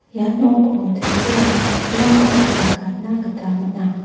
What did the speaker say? ia noko tebil aro chokkirangkoba nikatna gita man·a.